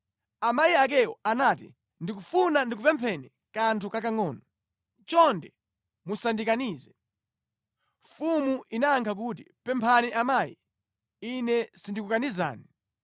Amayi akewo anati, “Ndikufuna ndikupempheni kanthu kakangʼono. Chonde musandikanize.” Mfumu inayankha kuti, “Pemphani amayi, ine sindikukanizani.”